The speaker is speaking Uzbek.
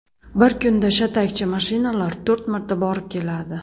Bir kunda shatakchi mashinalar to‘rt marta borib keladi.